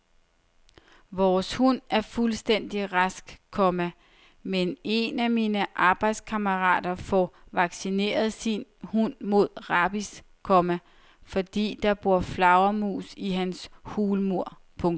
Vores hund er fuldstændig rask, komma men en af mine arbejdskammerater får vaccineret sin hund mod rabies, komma fordi der bor flagermus i hans hulmur. punktum